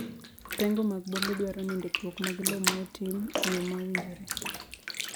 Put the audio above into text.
Pengo mag bombe dwaro ni ndikruok mar lowo ma otim e yo ma owinjore.